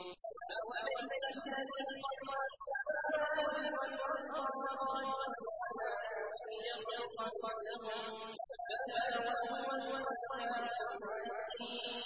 أَوَلَيْسَ الَّذِي خَلَقَ السَّمَاوَاتِ وَالْأَرْضَ بِقَادِرٍ عَلَىٰ أَن يَخْلُقَ مِثْلَهُم ۚ بَلَىٰ وَهُوَ الْخَلَّاقُ الْعَلِيمُ